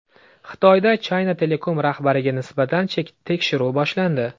Xitoyda China Telecom rahbariga nisbatan tekshiruv boshlandi .